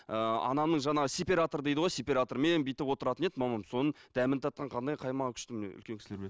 ыыы анамның жаңағы сеператор дейді ғой сеператормен бүйтіп отыратын еді мамам соның дәмін татқан қандай қаймағы күшті міне үлкен кісілер біледі